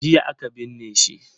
Jiya aka binne shi.